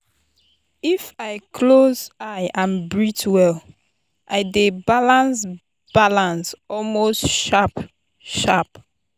if i close eye and breathe well i dey balance balance almost sharp-sharp.